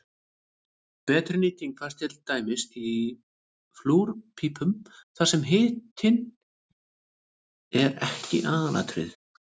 Betri nýting fæst til dæmis í flúrpípum þar sem hitun er ekki aðalatriðið.